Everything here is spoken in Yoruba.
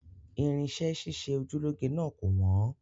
Irinṣẹ́ ṣíṣe oju lọ́ge náà kò wọ́n